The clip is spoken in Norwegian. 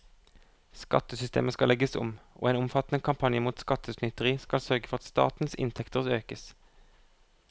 Skattesystemet skal legges om, og en omfattende kampanje mot skattesnyteri skal sørge for at statens inntekter økes.